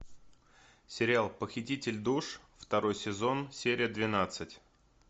сериал похититель душ второй сезон серия двенадцать